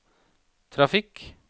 trafikk